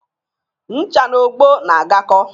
Ncha na ogbo na-agakọ